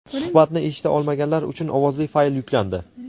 Suhbatni eshita olmaganlar uchun ovozli fayl yuklandi..